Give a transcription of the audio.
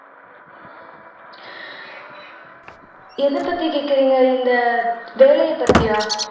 எதைப்பத்தி கேக்குறீங்க இந்த வேலையைப் பத்தியா